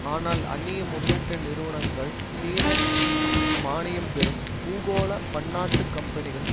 ஆனால் அந்நிய முதலீட்டு நிறுவனங்கள் சீன மானியம்பெறும் பூகோள பன்னாட்டு கம்பெனிகள்